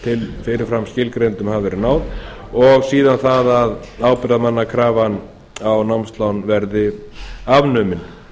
að fyrirfram skilgreindum hafi verið náð og síðan það að ábyrgðarmannakrafan á námslán verði afnumin